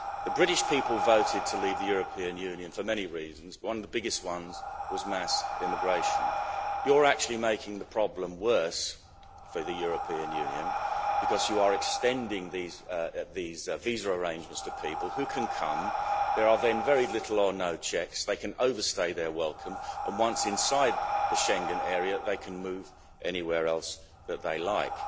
The British people voted to leave the European Union for many reasons, and one of the biggest ones was mass immigration. You're actually making the problem worse for the European Union because you are extending these visa arrangements to people, who can come, there are then very few or no checks, they can overstay their welcome, and once inside the Schengen area, they can move anywhere else that they like.